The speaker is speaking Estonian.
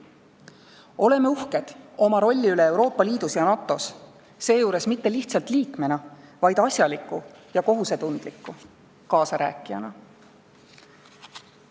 Olgem uhked oma rolli üle Euroopa Liidus ja NATO-s, seejuures mitte lihtsalt liikmena, vaid asjaliku ja kohusetundliku kaasarääkijana.